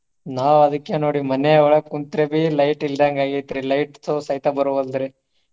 ನಾವ ಅದ್ಕೆ ನೋಡಿ ಮನೆಯೊಳಗ ಕುಂತ್ರೆಬಿ light ಇಲ್ದಂಗ ಆಗೇತ್ರಿ light ಸಹಿತ ಬರ್ವಲ್ದ್ರಿ.